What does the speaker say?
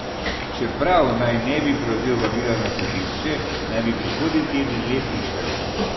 Čeprav naj ne bi prevzel vabila na sodišče, naj bi prihodnji teden le prišel.